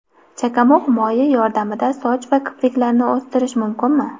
Chakamug‘ moyi yordamida soch va kipriklarni o‘stirish mumkinmi?.